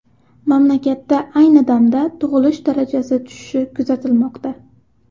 Mamlakatda ayni damda tug‘ilish darajasi tushishi kuzatilmoqda.